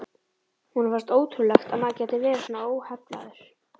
Honum fannst það ótrúlegt að maður gæti verið svona óheflaður.